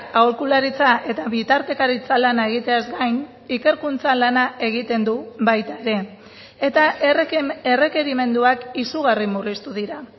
aholkularitza eta bitartekaritza lana egiteaz gain ikerkuntza lana egiten du baita ere eta errekerimenduak izugarri murriztu dira